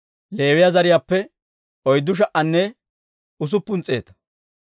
Leewiyaa zariyaappe oyddu sha"anne usuppun s'eeta.